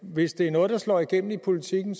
hvis det er noget der slår igennem i politikken